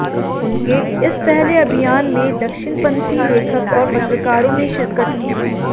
उनके इस पहले अभियान में दक्षिणपंथी लेखक और पत्रकारों ने शिरकत की